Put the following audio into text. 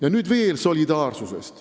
Aga olgu, see ei ole täna teema.